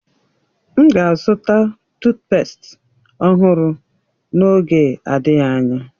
M ga-azụta tuutpestị ọhụrụ n'oge adịghị anya.